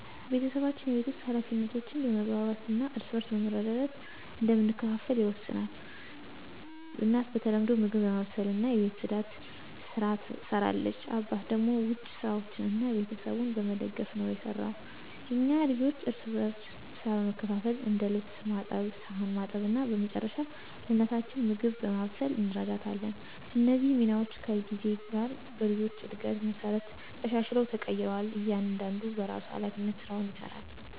ቤተሰባችን የቤት ውስጥ ኃላፊነቶችን በመግባባት እና እርስ በርስ በመረዳዳት እንደምንከፋፈል ይወሰናል። እናት በተለምዶ ምግብ በማብሰልና የቤት ጽዳትን ስራ ትሰራለች አባት ደግሞ ውጭ ስራዎችን እና ቤተሰቡን በመደገፍ ነው የሰራው። እኛ ልጆችም እርስ በርስ ሥራ በመካፈል እንደ ልብስ ማጠብ ሳህን ማጠብ እና በመጨረሻ ለእናታችን ምግብ በማብሰል እንረዳታለን። እነዚህ ሚናዎች ከጊዜ ጋር በልጆች እድገት መሠረት ተሻሽለው ተቀይረዋል እያንዳንዱ በራሱ ሀላፊነት ስራውን ይሰራል።